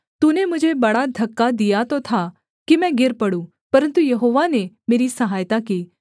तूने मुझे बड़ा धक्का दिया तो था कि मैं गिर पड़ूँ परन्तु यहोवा ने मेरी सहायता की